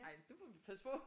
Ej det må vi passe på